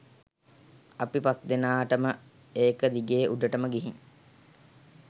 අපි පස්දෙනාටම ඒක දිගේ උඩටම ගිහින්